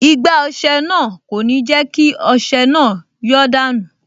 Igbá ọsẹ náà kò ní jẹ́ kí ọsẹ náà yọ́ dànù